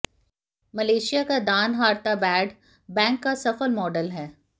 Malaysia का Danaharta bad bank का सफल मॉडल है